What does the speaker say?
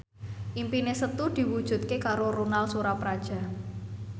impine Setu diwujudke karo Ronal Surapradja